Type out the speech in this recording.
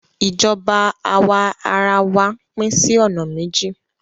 Ìjọba àwa ara wa pín sí ọ̀nà méjì.